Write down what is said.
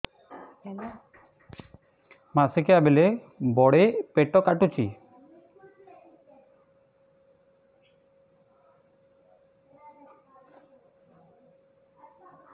ମାସିକିଆ ବେଳେ ବଡେ ପେଟ କାଟୁଚି